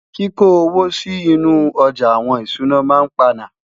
kí kò owó sí inú ojà àwọn ìṣúná má ń pana